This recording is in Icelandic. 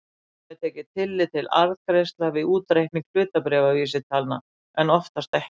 Stundum er tekið tillit til arðgreiðslna við útreikning hlutabréfavísitalna en oftast ekki.